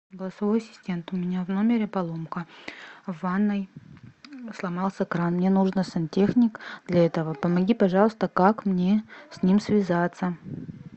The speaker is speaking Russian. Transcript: голосовой ассистент у меня в номере поломка в ванной сломался кран мне нужен сантехник для этого помоги пожалуйста как мне с ним связаться